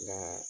Nka